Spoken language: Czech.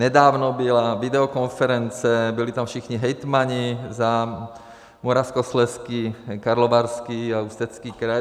Nedávno byla videokonference, byli tam všichni hejtmani za Moravskoslezský, Karlovarský a Ústecký kraj.